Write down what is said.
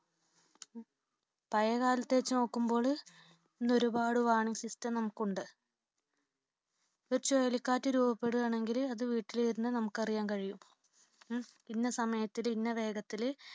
പഴയകാലത്തെ വച്ച് നോക്കുമ്പോൾ ഇന്ന് ഒരുപാടു warning system നമുക്കുണ്ട്. ഒരു ചുഴലിക്കാറ്റ് രൂപപ്പെടുകയാണെങ്കിൽ അത് വീട്ടിലിരുന്നു നമുക്ക് അറിയാൻ കഴിയും. ഇന്ന സമയത്തിൽ ഇന്ന വേഗത്തില്